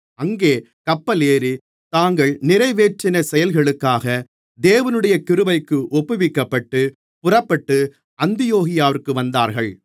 அங்கே கப்பல் ஏறி தாங்கள் நிறைவேற்றின செயல்களுக்காக தேவனுடைய கிருபைக்கு ஒப்புவிக்கப்பட்டு புறப்பட்டு அந்தியோகியாவிற்கு வந்தார்கள்